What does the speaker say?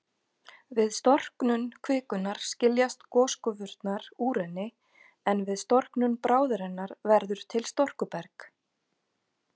Við storknun kvikunnar skiljast gosgufurnar úr henni, en við storknun bráðarinnar verður til storkuberg.